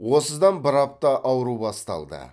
осыдан бір апта ауру басталды